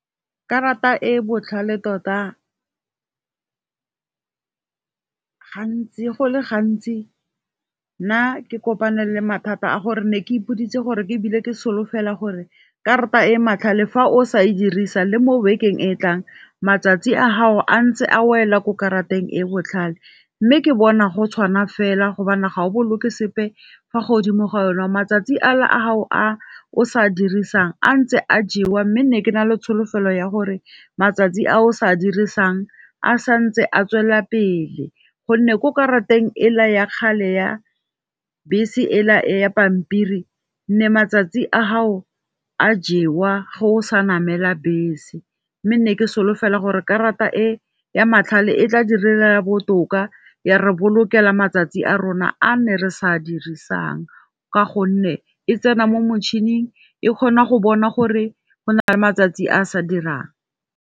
Karata e botlhale tota go le gantsi nna ke kopane le mathata a gore ne ke ipoditse gore ebile ke solofela gore karata e matlhale fa o sa e dirisa le mo bekeng e e tlang matsatsi a gago a ntse a wela ko karateng e botlhale. M, me ke bona go tshwana fela gobane ga o boloke sepe fa godimo ga yone. Matsatsi a le a gago a o sa dirisang a ntse a jewa mme ne ke nale tsholofelo ya gore matsatsi a o sa dirisang a santse a tswelela pele. Gonne ko ka ra teng ela ya kgale ya bese e la ya pampiri nne matsatsi a ha o a jewa ge o sa namela bese, mme nne ke solofela gore karata e ya matlhale e tla direla botoka ya re bolokelang matsatsi a rona a nne re sa dirisang, ka gonne e tsena mo motšhining e kgona go bona gore go na le matsatsi a sa dirang.